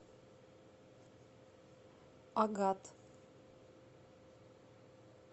агат